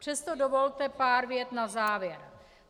Přesto dovolte pár vět na závěr.